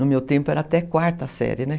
No meu tempo era até quarta série, né?